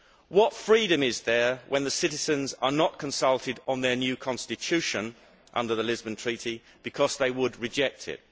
What freedom is there when the citizens are not consulted on their new constitution under the Lisbon Treaty because they would reject it?